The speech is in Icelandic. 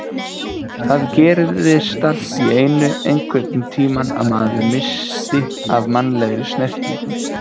Það gerðist allt í einu einhvern tímann að maður missti af mannlegri snertingu.